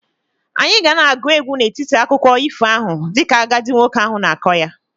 Anyị ga na-agụ egwu n'etiti akụkọ ifo ahụ dịka agadi nwoke ahụ na-akọ ya.